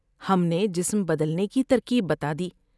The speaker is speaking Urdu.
ہم نے جسم بدلنے کی ترکیب بتادی ۔